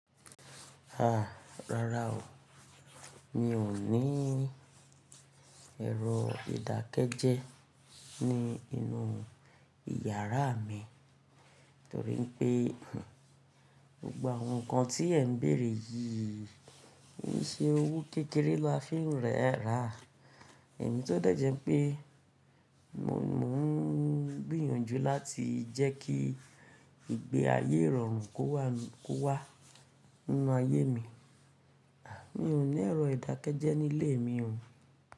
A, rárá o. Mi ò ní ẹ̀rọ ìdákẹ́jẹ́ ní inú ìyàrá mi torí pé gbogbo awon nǹkan tí ẹ̀ ń bèèrè yìí, kó n ṣe owó kékeré la fi ń rẹ́ ra. Èmi tó dẹ̀ jẹ́ pé mò ń gbìyànjú láti jẹ́ kí ìgbé ayé ìrọ̀rùn kó wà kó wá nínú ayé mi. Mi ò ní ẹ̀rọ ìdákẹ́jẹ́ nílé mi o.